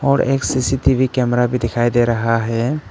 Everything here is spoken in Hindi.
और एक सी_सी_टी_वी कैमरा भी दिखाई दे रहा है।